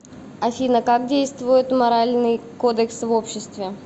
афина как действует моральный кодекс в обществе